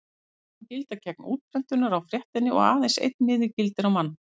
Tilboðin gilda gegn útprentunar á fréttinni og aðeins einn miði gildir á mann.